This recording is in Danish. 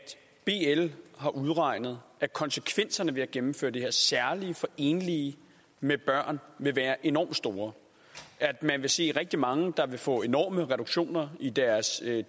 bl har udregnet at konsekvenserne ved at gennemføre det her særligt enlige med børn vil være enorm store man vil se rigtig rigtig mange der vil få enorme reduktioner i deres